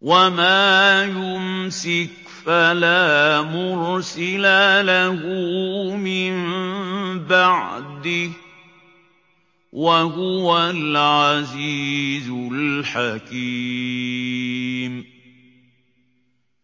وَمَا يُمْسِكْ فَلَا مُرْسِلَ لَهُ مِن بَعْدِهِ ۚ وَهُوَ الْعَزِيزُ الْحَكِيمُ